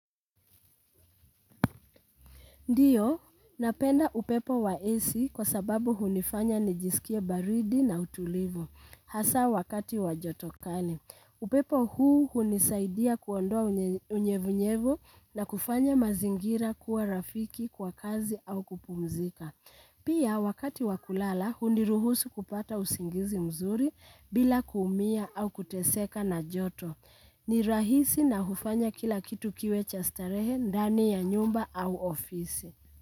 Ndiyo, napenda upepo wa AC kwa sababu hunifanya nijisikie baridi na utulivu. Hasa wakati wa joto kali. Upepo huu hunisaidia kuondoa unyevunyevu na kufanya mazingira kuwa rafiki kwa kazi au kupumzika. Pia wakati wa kulala, huniruhusu kupata usingizi mzuri bila kuumia au kuteseka na joto. Ni rahisi na hufanya kila kitu kiwe cha starehe, ndani ya nyumba au ofisi.